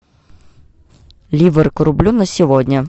ливр к рублю на сегодня